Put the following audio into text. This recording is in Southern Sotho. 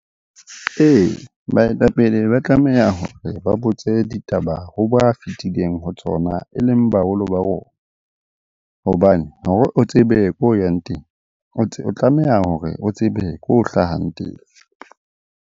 Ee, baetapele ba tlameha hore ba botse ditaba ho ba fetileng ho tsona e leng baholo ba rona. Hobane hore o tsebe ko o yang teng, o tlameha hore o tsebe ko o hlahang teng.